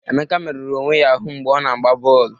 Emeka merụrụ onwe ya ahụ mgbe ọ na-agba bọọlụ.